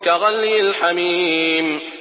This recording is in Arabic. كَغَلْيِ الْحَمِيمِ